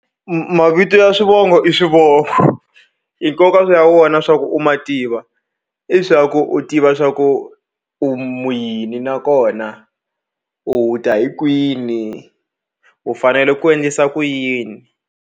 Mavito ya swivongo i swivongo i nkoka wa wona swa ku u ma tiva i swa ku u tiva swa ku u mu yini nakona u ta hi kwini u fanele ku endlisa ku yini.